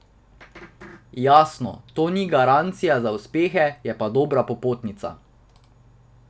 Jasno, to ni garancija za uspehe, je pa dobra popotnica.